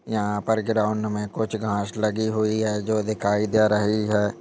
यहाँ पर ग्राउन्ड में कुछ घास लगी हुई है जो दिखाई दे रही हैं।